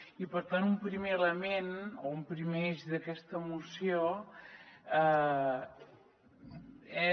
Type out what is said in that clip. i per tant un primer element o un primer eix d’aquesta moció és